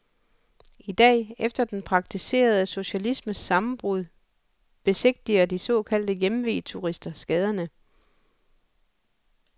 Idag efter den praktiserede socialismes sammenbrud besigtiger de såkaldte hjemveturister skaderne.